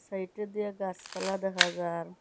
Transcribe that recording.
এইটা দিয়ে গাসপালা দেখা যার ।